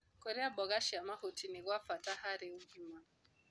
Kũrĩa mboga cia mahũtĩ nĩ gwa bata harĩ ũgima